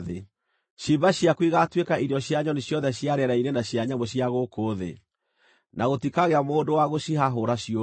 Ciimba ciaku igaatuĩka irio cia nyoni ciothe cia rĩera-inĩ na cia nyamũ cia gũkũ thĩ, na gũtikagĩa mũndũ wa gũcihahũra ciũre.